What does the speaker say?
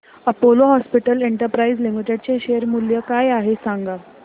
Apollo Hospitals Enterprise Limited चे share मूल्य काय आहे सांगा